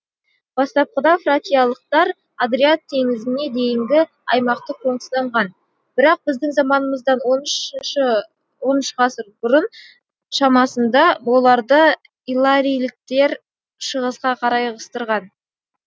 бастапқыда фракиялықтар адриат теңізіне дейінгі аймақты қоныстанған бірақ біздің заманымыздан он үшінші он үш ғасыр шамасында оларды илларийліктер шығысқа қарай ығыстырған